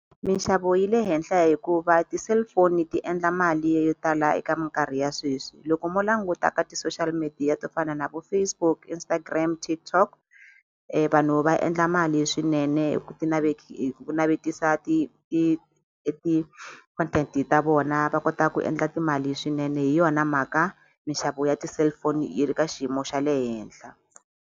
Minxavo yi le henhla hikuva ti-cellphone ti endla mali yo tala eka minkarhi ya sweswi loko mo languta ka ti-social media to fana na vo Facebook Instagram TikTok vanhu va endla mali swinene hi ku hi ku navetisa e ti-content ta vona va kota ku endla timali swinene hi yona mhaka mixavo ya ti-cellphone yi ri ka xiyimo xa le henhla.